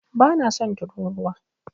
Bana son turūruwa.